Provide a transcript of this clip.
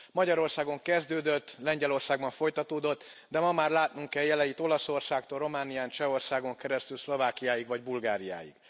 Magyarországon kezdődött, Lengyelországban folytatódott, de ma már látnunk kell jeleit Olaszországtól Románián, Csehországon keresztül Szlovákiáig, vagy Bulgáriáig.